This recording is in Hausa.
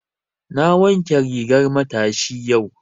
Na wanke rigar matashi yau.